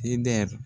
Id